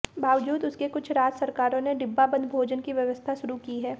बावजूद उसके कुछ राज्य सरकारों ने डिब्बाबंद भोजन की व्यवस्था शुरू की है